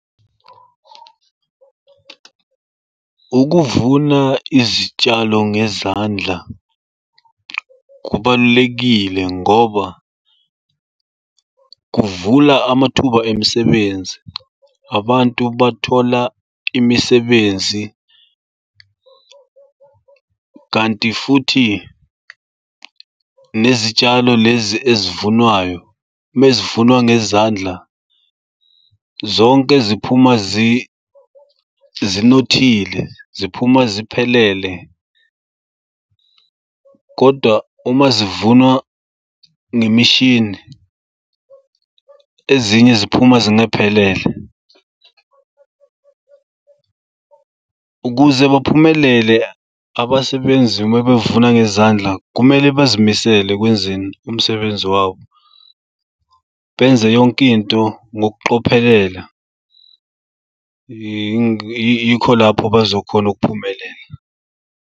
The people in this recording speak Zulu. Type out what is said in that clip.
Ukuvuna izitshalo ngezandla kubalulekile ngoba kuvula amathuba emisebenzi. Abantu bathola imisebenzi kanti futhi nezitshalo lezi ezivunwayo uma zivunwa ngezandla zonke ziphuma zinothile, ziphuma ziphelele, kodwa uma zivunwa ngemishini ezinye ziphuma zingaphelele. Ukuze baphumelele abasebenzi uma bevuna ngezandla kumele bazimisele ekwenzeni umsebenzi wabo, benze yonkinto ngokucophelela. Yikho lapho bazokhona ukuphumelela.